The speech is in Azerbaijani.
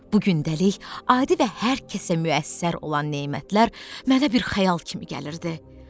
Bu günləlik adi və hər kəsə müəssər olan nemətlər mənə bir xəyal kimi gəlirdi.